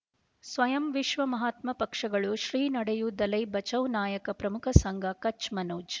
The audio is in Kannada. ಸ್ವಯಂ ವಿಶ್ವ ಮಹಾತ್ಮ ಪಕ್ಷಗಳು ಶ್ರೀ ನಡೆಯೂ ದಲೈ ಬಚೌ ನಾಯಕ ಪ್ರಮುಖ ಸಂಘ ಕಚ್ ಮನೋಜ್